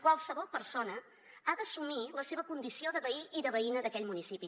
qualsevol persona ha d’assumir la seva condició de veí i de veïna d’aquell municipi